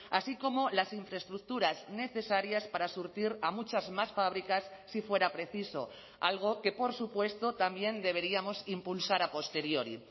así como las infraestructuras necesarias para surtir a muchas más fábricas si fuera preciso algo que por supuesto también deberíamos impulsar a posteriori